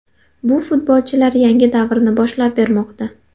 Bu futbolchilar yangi davrni boshlab bermoqda.